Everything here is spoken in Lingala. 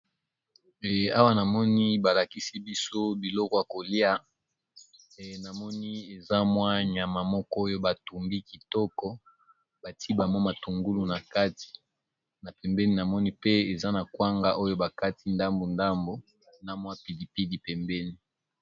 Awa na moni balakisi biso biloko ya kolia na moni eza mwa nyama moko oyo batungi kitoko bati bamwa matungulu na kati na pembeni namoni pe eza na kwanga oyo bakati ndambu ndambu na mwa pilipidi pembeni.